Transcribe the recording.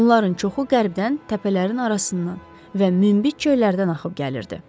Onların çoxu qərbdən təpələrin arasından və münbit çöllərdən axıb gəlirdi.